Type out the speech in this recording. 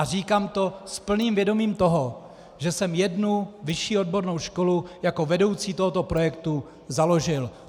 A říkám to s plným vědomím toho, že jsem jednu vyšší odbornou školu jako vedoucí tohoto projektu založil.